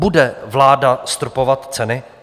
Bude vláda stropovat ceny?